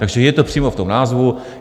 Takže je to přímo v tom názvu.